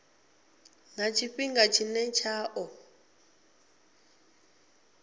na tshifhinga tshine tsha ḓo